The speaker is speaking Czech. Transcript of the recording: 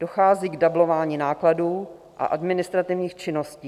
Dochází k dublování nákladů a administrativních činností.